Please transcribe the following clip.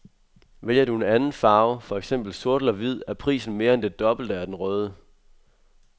Vælger du anden farve, for eksempel sort eller hvid, er prisen mere end det dobbelte af den røde.